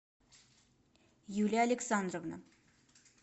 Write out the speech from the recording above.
юлия александровна